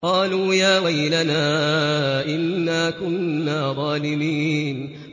قَالُوا يَا وَيْلَنَا إِنَّا كُنَّا ظَالِمِينَ